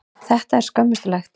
Þetta er skömmustulegt.